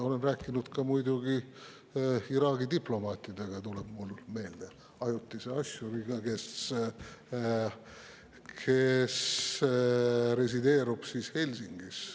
Olen rääkinud muidugi ka Iraagi diplomaatidega, mulle tuleb meelde näiteks ajutine asjur, kes resideerub Helsingis.